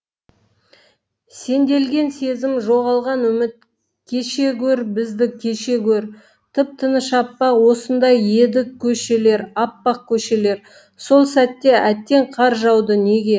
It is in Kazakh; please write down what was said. сенделген сезім жоғалған үміт кеше гөр бізді кеше гөр тып тыныш аппақ осындай едікөшелер аппақ көшелер сол сәтте әттең қар жауды неге